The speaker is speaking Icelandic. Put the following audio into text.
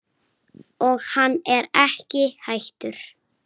Og hann er ekki hættur.